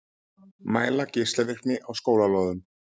Mæla geislavirkni á skólalóðum